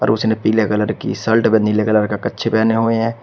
उसने पीले कलर की शल्ट व नीले कलर का कच्छे पहने हुए हैं।